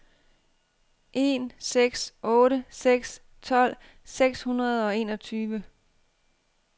en seks otte seks tolv seks hundrede og enogtyve